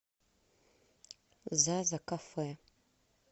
зазакафе